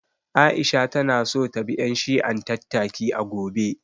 Aisha ta na so ta bi ƴan shi'an tattaki, a gobe